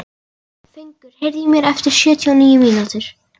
Fengur, heyrðu í mér eftir sjötíu og níu mínútur.